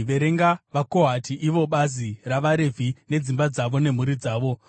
“Verenga vaKohati ivo bazi ravaRevhi nedzimba dzavo nemhuri dzavo.